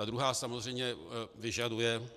Ta druhá samozřejmě vyžaduje,